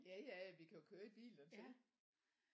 Jaja vi kan jo køre i bil dertil